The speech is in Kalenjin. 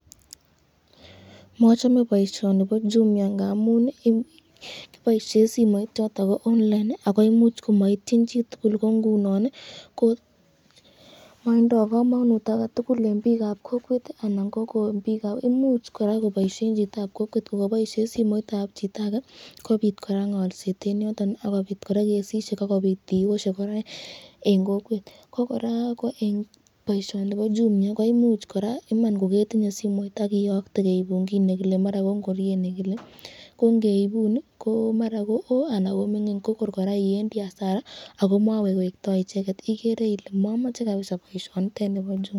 Mochome boishoni bo Jumia ng'amun kiboishen simoit choton ko online ak koimuch komoityin chitukul ak ko ing'unon ko motindo komonut aketukul en biikab kokwet anan kibiik, imuch koboishen kora chitab kokwet kokoboishen simoitab chito akee kobiit kora ng'olset en yoton ak kobiit kora kesisiek ak kobiit tiyoshek kora en kokwet, ko kora ko en boishoni bo Jumia koimuch kora koketinye simoit iman ak iyoktee keibun kiit nekile maran ko ing'oriet nekile ko ng'eibun ko maran kowoo anan ko ming'in kokor kora iwendi asara ak ko mokowekto icheket, ikeree ilee momoche kabisaa boishonitet nibo Jumia.